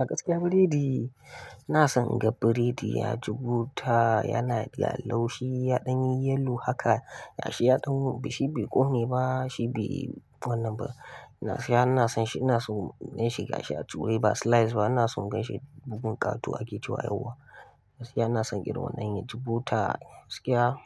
A gaskiya biredi, na san ga biredi ya ji bota, yana da laushi, ya ɗan yi yellow haka, ya shi ya ɗan, bishai bai ƙone ba, shi bai wannan ba. Na yana son shi, ina son in shiga shi a tuwo ba slice ba, ina son in gaishe bugun ƙatu ake cewa yauwa. Yana son ƙira wannan yaji buta, gaskiya